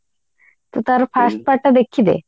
ତୁ ତାର first part ଟା ଦେଖିଦେ